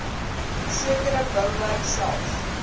sekere bouwerk self